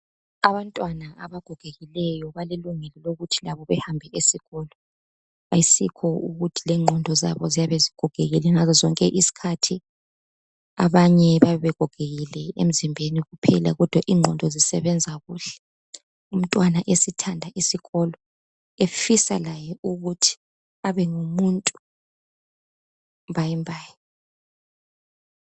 abantwana abagogekileyo balelungelo lokuthi labo bahambe esikolo ayisikho ukuthi ingqondo zabo ziyabe zigogekile ngazo zonke izikhathi abanye bayabe begogekile emzimbeni kuphela kodwa ingqondo zisebenza kuhle umntwana esithanda isikolo efisa laye ukuthi abe ngumuntu mbayimbayi